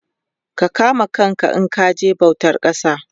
ka kame kanka in kaje bautan kasa